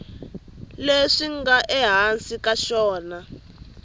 leswi nga ehansi ka xona